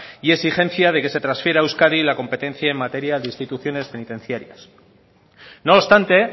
y exigencia de que se transfiera a euskadi la competencia en materia de instituciones penitenciarias no obstante